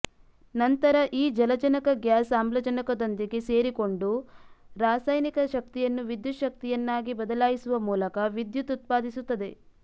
ನಂತರ ಈ ಜಲಜನಕ ಗ್ಯಾಸ್ ಆಮ್ಲಜನಕದೊಂದಿಗೆ ಸೇರಿಕೊಂಡು ರಾಸಾಯನಿಕ ಶಕ್ತಿಯನ್ನು ವಿದ್ಯುತ್ಶಕ್ತಿಯನ್ನಾಗಿ ಬದಲಾಯಿಸುವ ಮೂಲಕ ವಿದ್ಯುತ್ ಉತ್ಪಾದಿಸುತ್ತದೆ